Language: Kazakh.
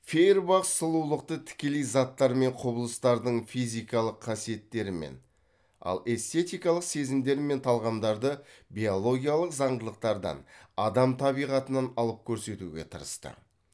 фейербах сұлулықты тікелей заттар мен құбылыстардың физикалық қасиеттерінен ал эстететикалық сезімдер мен талғамдарды биологиялық заңдылықтардан адам табиғатынан алып көрсетуге тырысты